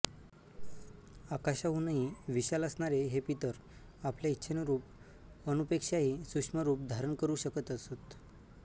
आकाशाहूनही विशाल असणारे हे पितर आपल्या इच्छेनुरूप अणुपेक्षाही सूक्ष्म रूप धारण करू शकत असत